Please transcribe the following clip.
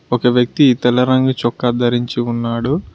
ఒక వ్యక్తి తెల్ల రంగు చొక్క ధరించి ఉన్నాడు.